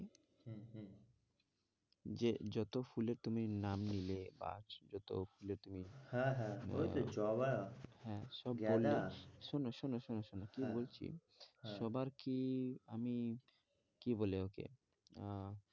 যে যতো ফুলের তুমি নাম নিলে বা যতো ফুলের তুমি হ্যাঁ হ্যাঁ ওই তো জবা হ্যাঁ সব বললে গেদা শোনো, শোনো, শোনো, শোনো হ্যাঁ কি বলছি সবার কি আমি কি বলে ওকে আহ